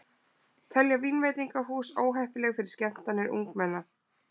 Telja vínveitingahús óheppileg fyrir skemmtanir ungmenna